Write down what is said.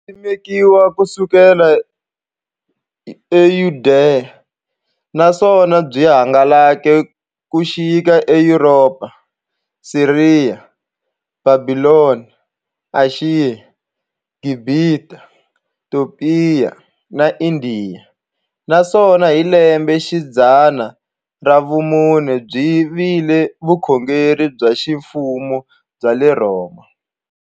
Byisimekiwe ku suka e Yudeya, naswona byi hangalake ku xika e Yuropa, Siriya, Bhabhilona, Ashiya, Gibhita, Topiya na Indiya, naswona hi lembexidzana ra vumune byi vile vukhongeri bya ximfumo bya le Rhoma.